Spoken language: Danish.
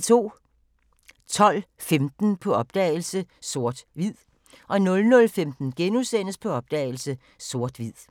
12:15: På opdagelse – Sort/Hvid 00:15: På opdagelse – Sort/Hvid *